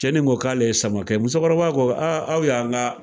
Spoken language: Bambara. Cɛnni ko k'ale ye Samakɛ ye, musokɔrɔba ko aa aw y'an ka